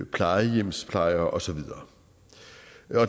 plejehjemsplejere og så videre